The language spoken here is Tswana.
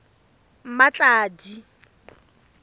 mmatladi